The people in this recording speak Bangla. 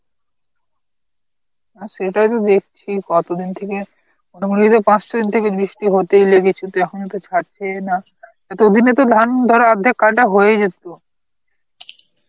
হ্যাঁ সেটাই তো দেখছি কত দিন থেকে মোটামুটি এই পাঁচ ছদিন থেকে বৃষ্টি হতেই লেগেছে তো এখনো তো ছাড়ছেই না এতদিনে তো ধান ধর অর্ধেক কাটা হয়েই যেত.